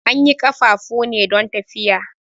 An yi ƙafafu ne don tafiya.